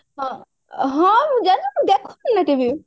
ହଁ ମୁଁ ଜାଣିନି ମୁଁ ଦେଖୁଥିଲି କେମିତି